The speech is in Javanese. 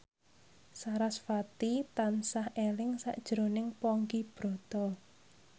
sarasvati tansah eling sakjroning Ponky Brata